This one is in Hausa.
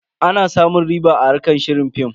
Ana samun riɓa a harkar shirin film.